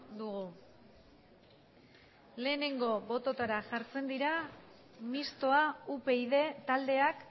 dugu lehenengo botoetara jartzen dira mistoa upyd taldeak